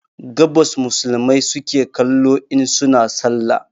Gabas musulmai suke kallo in suna sallah